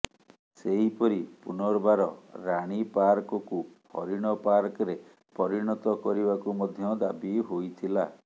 ସେହିପରି ପୁନର୍ବାର ରାଣୀପାର୍କକୁ ହରିଣ ପାର୍କରେ ପରିଣତ କରିବାକୁ ମଧ୍ୟ ଦାବି ହୋଇଥିଲା